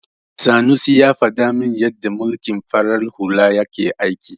Sanusi ya faɗa min yadda mulkin farar hula yake aiki.